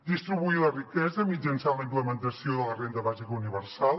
distribuir la riquesa mitjançant la implementació de la renda bàsica universal